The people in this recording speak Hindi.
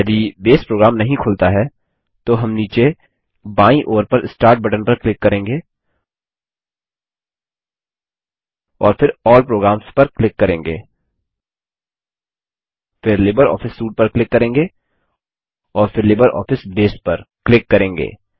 यदि बेस प्रोग्राम नहीं खुलता है तो हम नीचे बायीं ओर पर स्टार्ट बटन पर क्लिक करेंगे और फिर अल्ल प्रोग्राम्स पर क्लिक करेंगे फिर लिब्रियोफिस सूटे पर क्लिक करेंगे और फिर लिब्रियोफिस बसे पर क्लिक करेंगे